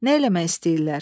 Nə eləmək istəyirlər?